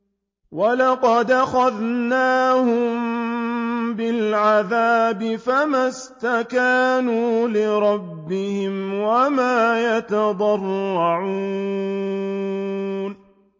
وَلَقَدْ أَخَذْنَاهُم بِالْعَذَابِ فَمَا اسْتَكَانُوا لِرَبِّهِمْ وَمَا يَتَضَرَّعُونَ